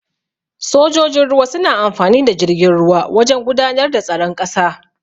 Sojojin ruwa suna amfani da jirgin ruwa wajan gudanar da tsaron ƙasa.